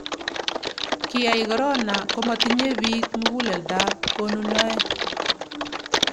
kiyai korona komatinye biik muguleldab konunoe